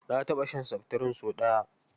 Na taɓa shan seftirin sau ɗaya.